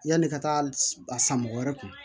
Yanni ka taa a san mɔgɔ wɛrɛ kun